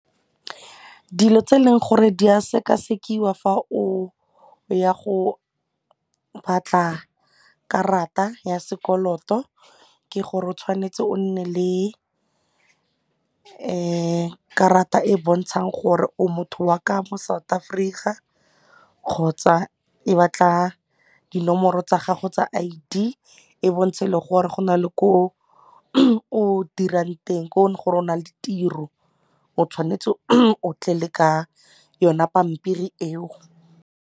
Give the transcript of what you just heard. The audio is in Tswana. Dilo tse e leng gore di a sekasekiwa fa o ya go batla karata ya sekoloto ke gore o tshwanetse o nne le karata e e bontshang gore o motho wa ka mo South Africa kgotsa e batla dinomoro tsa gago tsa I_D e bontshe le gore go na le ko o dirang teng ko e leng gore o na le tiro o tshwanetse o tle le ka yone pampiri eo.